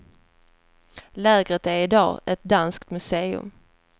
Lägret är i dag ett danskt museum.